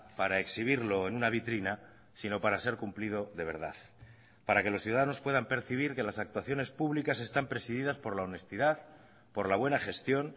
para exhibirlo en una vitrina sino para ser cumplido de verdad para que los ciudadanos puedan percibir que las actuaciones públicas están presididas por la honestidad por la buena gestión